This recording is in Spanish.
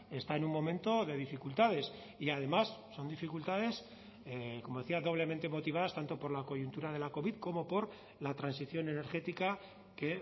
está en un momento de dificultades y además son dificultades como decía doblemente motivadas tanto por la coyuntura de la covid como por la transición energética que